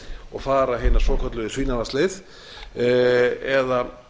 og fara hina svokölluðu svínavatnsleið eða